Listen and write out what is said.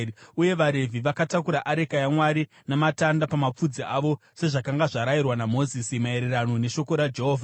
Uye vaRevhi vakatakura areka yaMwari namatanda pamapfudzi avo, sezvakanga zvarayirwa naMozisi maererano neshoko raJehovha.